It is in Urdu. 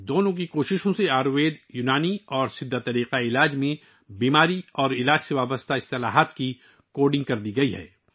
دونوں کی کوششوں سے آیوروید، یونانی اور سدھا طب میں بیماری اور علاج سے متعلق اصطلاحات کو کوڈ کیا گیا ہے